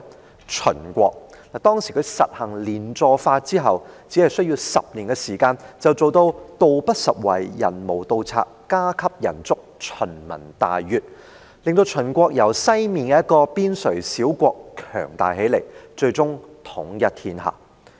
便是秦國，當時秦實行連坐法後，只需短短10年便能做到秦民大悅，道不拾遺，山無盜賊，家給人足；也令秦國由西面一個邊陲小國強大起來，最終統一天下。